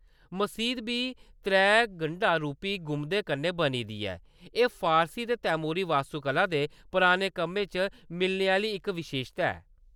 मसीद बी त्रै गंढा-रूपी गुंबदें कन्नै बनी दी ऐ, एह् फारसी ते तैमूरी वास्तुकला दे पुराने कम्में च मिलने आह्‌‌‌ली इक विशेशता ऐ।